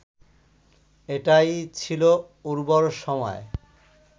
এটাই ছিল উর্বর সময়